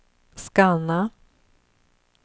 scanna